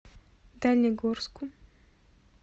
дальнегорску